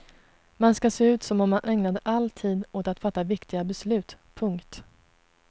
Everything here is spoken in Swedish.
Man ska se ut som om man ägnade all tid åt att fatta viktiga beslut. punkt